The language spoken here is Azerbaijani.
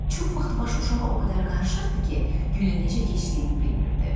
Çox vaxt başı uşağa o qədər qarışırdı ki, günün necə keçdiyini bilmirdi.